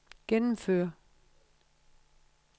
gennemføre